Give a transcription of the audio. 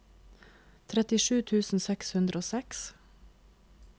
trettisju tusen seks hundre og seks